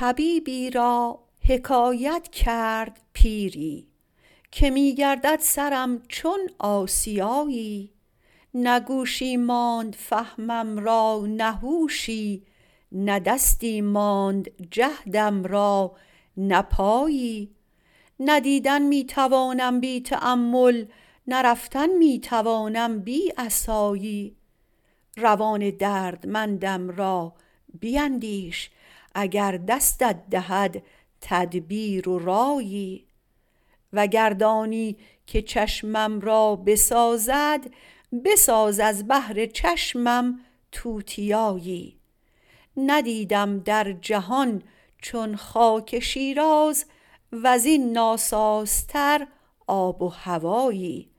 طبیبی را حکایت کرد پیری که می گردد سرم چون آسیایی نه گوشی ماند فهمم را نه هوشی نه دستی ماند جهدم را نه پایی نه دیدن می توانم بی تأمل نه رفتن می توانم بی عصایی روان دردمندم را بیندیش اگر دستت دهد تدبیر و رایی وگر دانی که چشمم را بسازد بساز از بهر چشمم توتیایی ندیدم در جهان چون خاک شیراز وزین ناسازتر آب و هوایی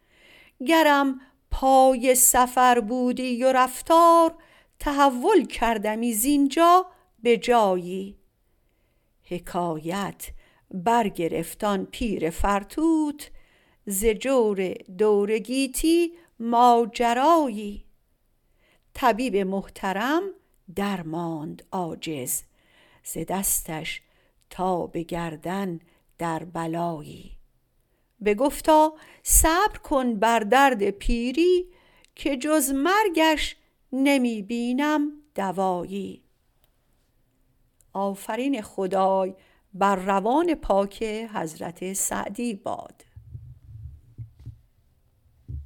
گرم پای سفر بودی و رفتار تحول کردمی زینجا به جایی حکایت برگرفت آن پیر فرتوت ز جور دور گیتی ماجرایی طبیب محترم درماند عاجز ز دستش تا به گردن در بلایی بگفتا صبر کن بر درد پیری که جز مرگش نمی بینم دوایی